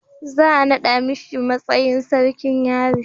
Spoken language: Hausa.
za a nada mishi matsayin sarkin yari